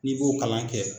N'i b'o kalan kɛ